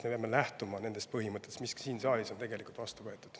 Me peame lähtuma nendest põhimõtetest, mis on ka siin saalis kokku lepitud.